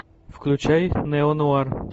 включай неонуар